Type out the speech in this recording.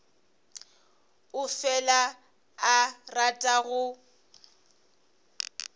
o fela a rata go